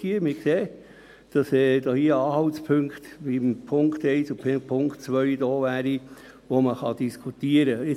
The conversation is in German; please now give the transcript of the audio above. Wir sehen, dass in den Punkten 1 und 2 Anhaltspunkte vorhanden wären, über die man diskutieren könnte.